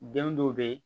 Den dɔw be yen